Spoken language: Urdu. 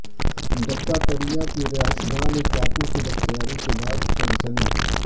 دتاتریہ کی رہائش گاہ میں چاقو کی دستیابی کے بعد سنسنی